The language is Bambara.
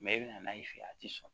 i bɛna n'a ye fɛ a tɛ sɔn